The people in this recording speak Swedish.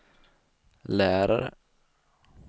lärare